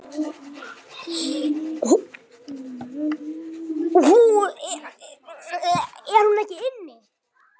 Er hún ekki inni?